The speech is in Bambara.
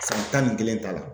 san tan ni kelen t'a la.